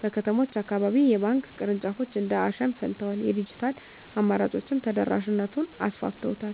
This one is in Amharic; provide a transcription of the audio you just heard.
በከተሞች አካባቢ የባንክ ቅርንጫፎች እንደ አሸን ፈልተዋል፤ የዲጂታል አማራጮችም ተደራሽነቱን አሰፍተውታል።